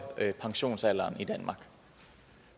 pensionsalderen i danmark